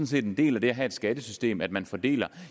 set en del af det at have et skattesystem at man fordeler